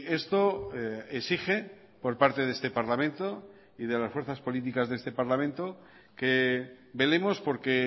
esto exige por parte de este parlamento y de las fuerzas políticas de este parlamento que velemos por que